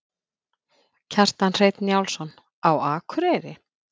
Kjartan Hreinn Njálsson: Á Akureyri?